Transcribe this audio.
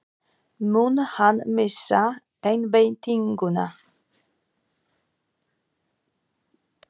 Mun hann missa einbeitinguna?